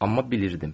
Amma bilirdim.